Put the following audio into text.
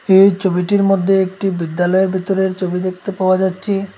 এই ছবিটির মধ্যে একটি বিদ্যালয়ের ভেতরের ছবি দেখতে পাওয়া যাচ্ছি।